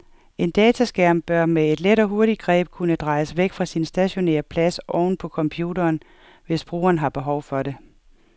En dataskærm bør med et let og hurtigt greb kunne drejes væk fra sin stationære plads oven på computeren, hvis brugeren har behov for det.